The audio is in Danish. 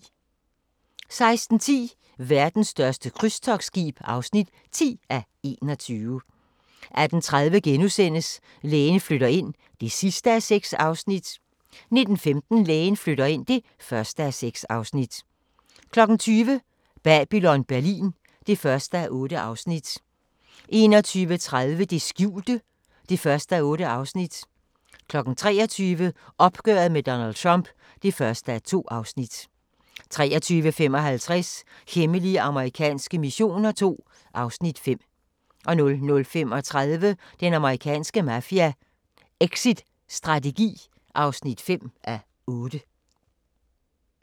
16:10: Verdens største krydstogtskib (10:21) 18:30: Lægen flytter ind (6:6)* 19:15: Lægen flytter ind (1:6) 20:00: Babylon Berlin (1:8) 21:30: Det skjulte (1:8) 23:00: Opgøret med Donald Trump (1:2) 23:55: Hemmelige amerikanske missioner II (Afs. 5) 00:35: Den amerikanske mafia: Exitstrategi (5:8)